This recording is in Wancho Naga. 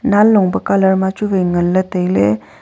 nanlong pe colour ma chu wai ngan le taile.